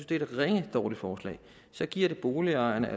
det er et ringe forslag så giver det boligejerne